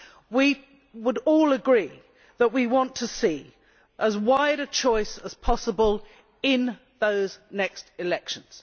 We would all agree that we want to see as wide a choice as possible in those next elections.